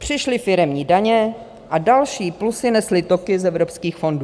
Přišly firemní daně a další plusy nesly toky z evropských fondů.